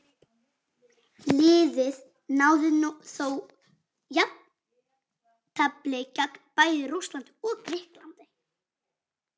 Liðið náði þó jafntefli gegn bæði Rússlandi og Grikklandi.